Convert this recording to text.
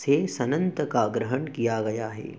से सन्नन्त का ग्रहण किया गया है